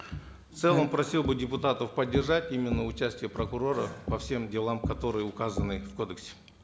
в целом просил бы депутатов поддержать именно участие прокурора по всем делам которые указаны в кодексе